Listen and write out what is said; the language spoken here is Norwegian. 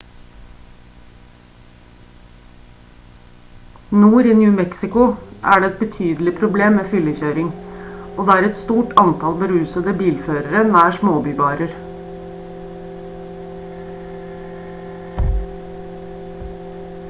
nord i new mexico er det et betydelig problem med fyllekjøring og det er et stort antall berusede bilførere nær småbybarer